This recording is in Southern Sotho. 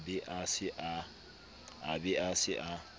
a be a se a